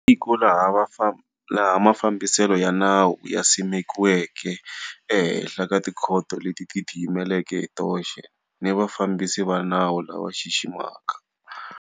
I tiko laha mafambiselo ya nawu ya simekiweke ehenhla ka tikhoto leti tiyimeleke hi toxe ni vafambisi va nawu lava xiximaka.